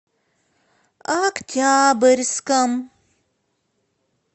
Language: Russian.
октябрьском